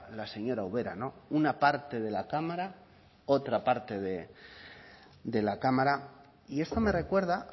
la señora ubera no una parte de la cámara otra parte de la cámara y esto me recuerda